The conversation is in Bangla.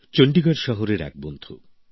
চন্ডিগড় শহরের এক বন্ধু